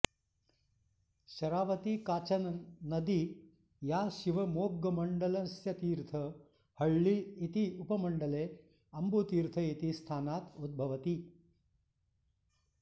शरावती काचन नदी या शिवमोग्गमण्डलस्यतीर्थहळ्ळी इति उपमण्डले अम्बुतीर्थ इति स्थानात् उद्भवति